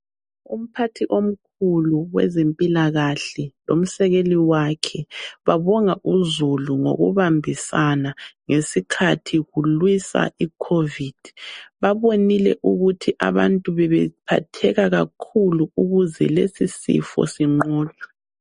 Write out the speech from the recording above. Umphathi omkhulu wezempilakahle lomsekeli wakhe babonga uzulu ngokubambisana ngesikhathi kulwisa iCovid. Babonile ukuthi abantu bebephatheka kakhulu ukuze lesi sifo sinqotshwe.